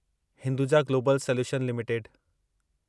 Hinduja global solution limited